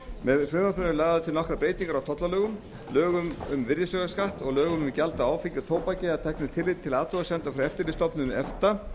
með frumvarpinu eru lagðar til nokkrar breytingar á tollalögum lögum um virðisaukaskatt og lögum um gjald af áfengi og tóbaki að teknu tilliti til athugasemda frá eftirlitsstofnun efta